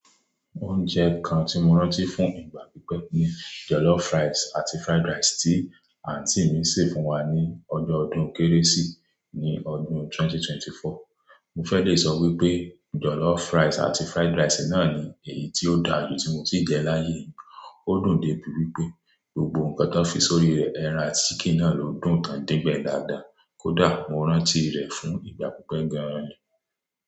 Oúnjẹ kan tí mo rántí fún ìgbà pípẹ́ ni jollof rice àti fried rice tí àǹtí mi sè fún wa ní ọjọ́ ọdún Kérésì ní ọdún 2024. Mo fẹ́ lẹ sọ wípé jollof rice àti fried rice náà ni èyí tí ó dára jù tí mo ti jẹ láyé. Ó dùn dé ibi wípé gbogbo nǹkan tó fi sórí rẹ ẹran ati Chicken náà ló dùn tán din gbẹ dáadáa. Kódà mo rántí rẹ̀ fún ìgbà pípẹ́ gan-an ni.